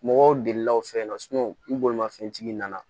Mɔgɔw delila aw fɛ yen nɔ ni bolimafɛntigi nana